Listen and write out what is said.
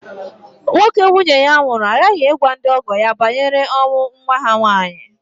Nwoke nwunye ya nwụrụ aghaghị ịgwa ndị ọgọ ya banyere ọnwụ nwa ha nwaanyị